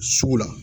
Sugu la